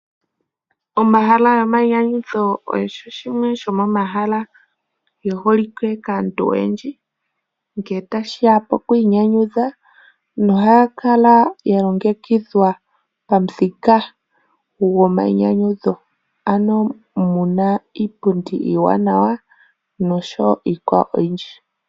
Omahala gomainyanyudho osho shimwe shomomahala geholike kaantu oyendji ngele tashi ya pokwiinyanyudha nohaga kala ga longekidhwa pamuthika gomainyanyudho. Omu na iipundi iiwanawa nayilwe oyindji.